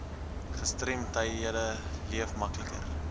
gestremdhede leef makliker